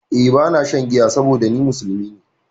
Eh ba na shan giya saboda ni musulmi ne